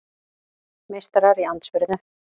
Meistarar í andspyrnu